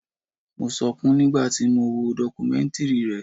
Mo sọkún nígbà tí mo wo dọkumẹ́ntìrì rẹ̀.